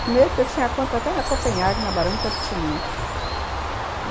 Primeiro porque eu tinha conta até na Copenhague, na Barão de Tepitininga.